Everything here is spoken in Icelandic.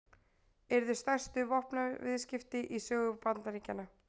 Yrðu stærstu vopnaviðskipti í sögu Bandaríkjanna